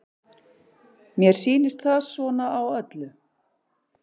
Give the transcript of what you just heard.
Mér sýnist það svona á öllu.